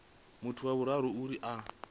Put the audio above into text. muthu wa vhuraru uri a